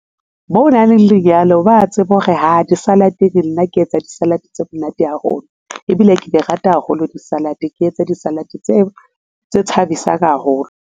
Mo nang le lenyalo, ba tsebe hore haa, di-salad ke nna ke etsa di-salad tse monate haholo ebile ke di rata haholo di-salad ke etse di-salad tse thabisang haholo.